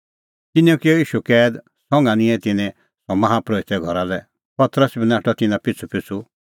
तिन्नैं किअ ईशू कैद संघा निंयं तिन्नैं सह माहा परोहिते घरा लै पतरस बी नाठअ तिन्नां पिछ़ूपिछ़ू